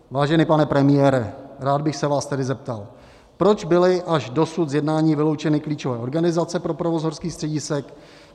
Vážený pane premiére, rád bych se vás tedy zeptal, proč byly až dosud z jednání vyloučeny klíčové organizace pro provoz horských středisek?